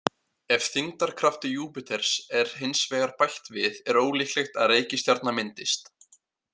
Ef þyngdarkrafti Júpíters er hins vegar bætt við er ólíklegt að reikistjarna myndist.